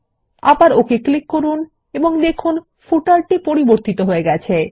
আবার OK click করুন এবং দেখুন পাদলেখ টি পরিবতিত হয়ে গেছে